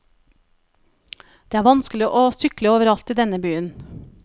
Det er vanskelig å sykle overalt i denne byen.